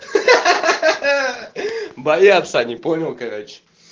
ха-ха боятся они понял короче